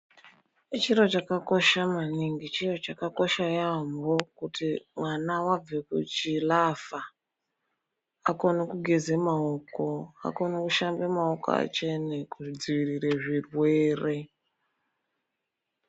Chiro chakakosha maningi, chiro chakakosha yaamho kuti vana vabve kuchilavha vakone kugeze maoko. Vakone kushambe maoko achene, kudziirire zvirwere.